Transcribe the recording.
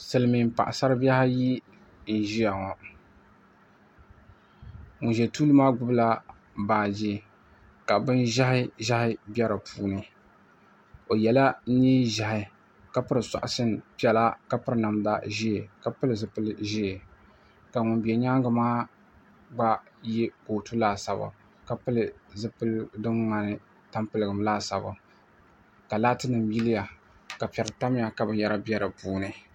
Silimiiŋ' paɣisaribihi ayi n-ʒiya ŋɔ ŋun ʒi tuuli maa gbubila baagi ka binʒɛhiʒɛhi be di puuni o yɛla neenʒɛhi ka piri sɔɣisi piɛla ka piri namda ʒee ka pili zipil' ʒee ka ŋun be nyaanga maa gba ye kootu laasabu ka pili zipiligu din ŋmani tampiligim laasaabu ka laatinima yiliya ka piɛri tamya ka binyɛra be di puuni